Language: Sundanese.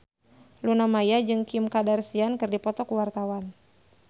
Luna Maya jeung Kim Kardashian keur dipoto ku wartawan